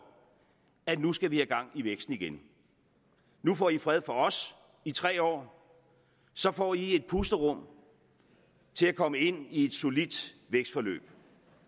at nu skal vi have gang i væksten igen nu får i fred for os i tre år så får i et pusterum til at komme ind i et solidt vækstforløb